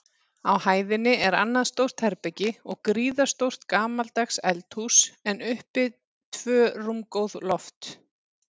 Á hæðinni er annað stórt herbergi og gríðarstórt gamaldags eldhús, en uppi tvö rúmgóð loft.